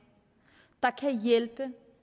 der kan hjælpe